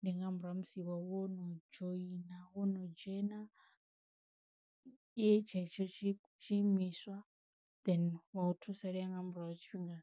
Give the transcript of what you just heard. ndi nga murahu ha musi iwe wo no dzhoina wo no dzhena ye tshetsho tshi tshi imiswa then wa u thusalea nga murahu tshifhinga .